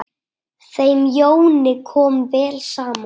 Þeim Jóni kom vel saman.